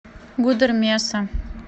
гудермеса